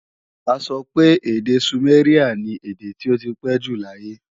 A sọ pé èdè sùméríà ni èdè tí ó ti pé jù lọ láyé